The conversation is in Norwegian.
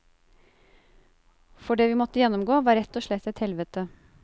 For det vi måtte gjennomgå var rett og slett et helvete.